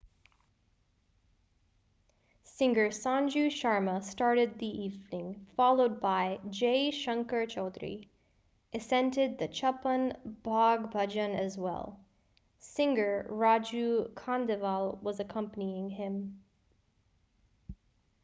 singer sanju sharma started the evening followed by jai shankar choudhary esented the chhappan bhog bhajan as well singer raju khandelwal was accompanying him